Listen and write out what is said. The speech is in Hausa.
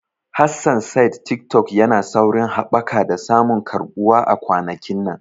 Hassan said Tiktok yana saurin haɓaka da samun karɓuwa a kwanakin nan.